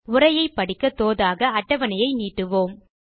உரையை படிக்க தோதாக அட்டவணையை நீட்டுவோம்